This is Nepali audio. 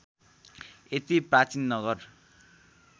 यति प्राचीन नगर